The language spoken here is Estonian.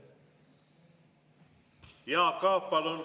Jaak Aab, palun!